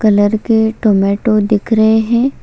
Colour के tomato दिख रहे है।